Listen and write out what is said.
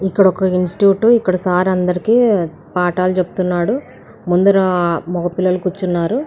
ఇక్కడ ఒక ఇన్స్టిట్యూట్ . ఇక్కడ సార్ అందరికీ పాటలు చెప్తున్నాడు. ముందు నా మగ పిల్లల కూర్చున్నారు.